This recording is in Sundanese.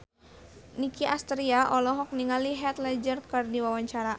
Nicky Astria olohok ningali Heath Ledger keur diwawancara